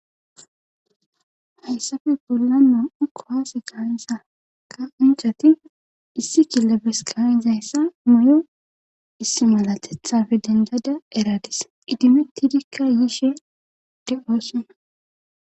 hayssafe bollan nam'u kuwaase gaanisa ka inchati issi killabes kaizayssa muyo issi malatethafe dendada eradis idimettidikka yiishe de' oossona